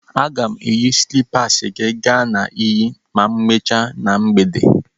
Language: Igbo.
A ga m eyi slịpasị gị ga na iyi ma emechaa na mgbede.